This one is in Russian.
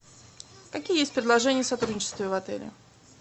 какие есть предложения о сотрудничестве в отеле